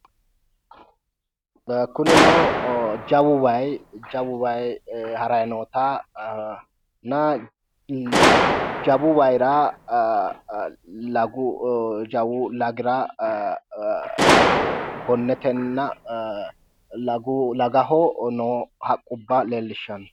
Kunino jawu wayi harayi nootanna jawu wayira jawu lagira gonnetenna lagaho no haqqubba leellishshanno